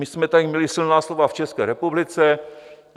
My jsme tady měli silná slova v České republice.